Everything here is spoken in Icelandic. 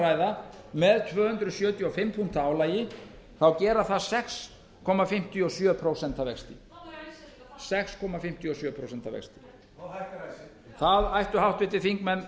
ræða með tvö hundruð sjötíu og fimm punkta álagi þá gera það sex komma fimmtíu og sjö prósent vexti og hækkar ekkert það ættu háttvirtir þingmenn